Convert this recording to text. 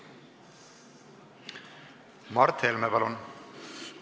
Mart Helme, palun!